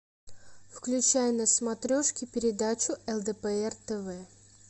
включай на смотрешке передачу лдпр тв